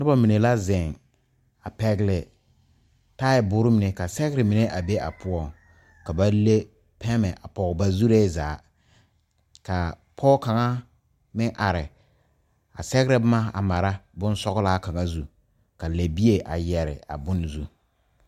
Noba mine la zeŋ pɛgle taaboore mine ka sɛgre mine a be a poɔŋ ka ba le pɛmɛ a pɔge a ba zuree zaa ka pɔge kaŋa meŋ are sɛgrɛ boma a mara bonsɔglaa kaŋa zu ka lɛbie a yɛre a bon zu.